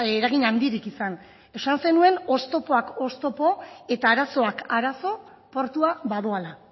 eragin handirik izan esan zenuen oztopoak oztopo eta arazoak arazo portua badoala